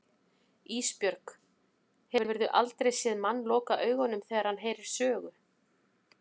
Ísbjörg, hefurðu aldrei séð mann loka augunum þegar hann heyrir sögu?